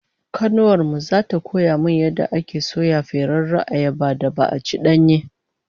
Kanuwar mu zata koya min yadda ake soya ferarriyar ayabar da ba'a ci danye?